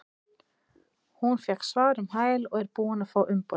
Ég fékk svar um hæl og er búinn að fá umboðið.